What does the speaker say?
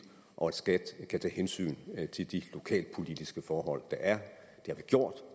og at skat skal tage hensyn til de lokalpolitiske forhold der er